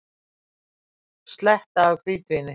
Sletta af hvítvíni.